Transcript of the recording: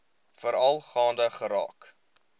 veral gaande geraak